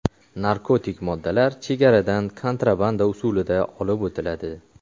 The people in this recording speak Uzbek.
Narkotik moddalar chegaradan kontrabanda usulida olib o‘tiladi.